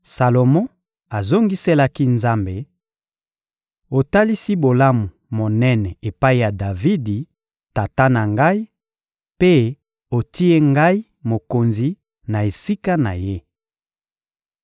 Salomo azongiselaki Nzambe: — Otalisi bolamu monene epai ya Davidi, tata na ngai, mpe otie ngai mokonzi na esika na ye.